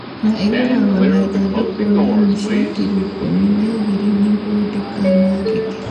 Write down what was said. Na ĩgũragwo na ithandũkũ nini cia kiro ikũmi na igĩrĩnĩguo ndĩkanangĩke